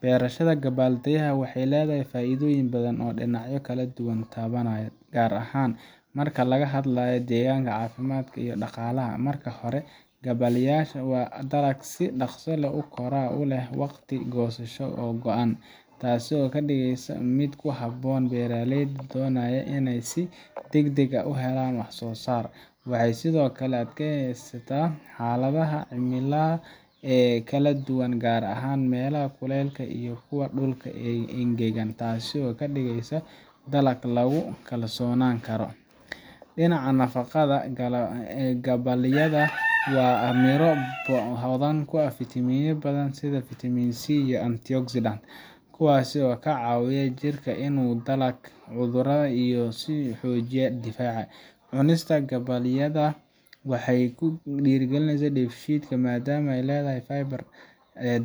Beerashada gabbaldayaha waxay leedahay faa’iidooyin badan oo dhinacyo kala duwan taabanaya, gaar ahaan marka laga hadlayo deegaanka, caafimaadka, iyo dhaqaalaha. Marka hore, gabbaldayaha waa dalag si dhaqso ah u kora oo leh waqti goosasho oo gaaban, taasoo ka dhigaysa mid ku habboon beeraleyda doonaya inay si degdeg ah u helaan wax-soo-saar. Waxay sidoo kale u adkaysataa xaaladaha cimilada ee kala duwan, gaar ahaan meelaha kuleylaha iyo kuwa dhulka engegan, taasoo ka dhigaysa dalag lagu kalsoonaan karo. Dhinaca nafaqada, gabbaldayaha waa miro hodan ku ah fiitamiinno badan sida fiitamiin C iyo antioxidants, kuwaas oo ka caawiya jirka inuu la dagaallamo cudurrada iyo inuu xoojiyo difaaca. Cunista gabbaldayaha waxay kaloo dhiirrigelisaa dheefshiidka, maadaama uu leeyahay fiber